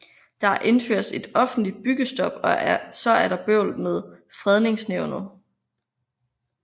Der indføres et offentlig byggestop og så er der bøvl med Fredningsnævnet